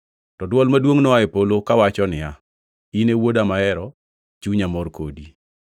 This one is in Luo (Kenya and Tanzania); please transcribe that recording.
To dwol maduongʼ noa e polo kawacho niya, “In e Wuoda mahero. Chunya mor kodi.”